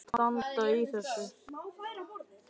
Af hverju ertu að standa í þessu?